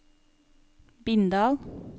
Bindal